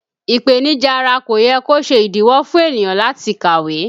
Ipenija ara kò yẹ kó ṣe ìdíwọ́ fún ènìyàn láti kàwé